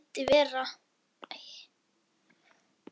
Hún vildi vera.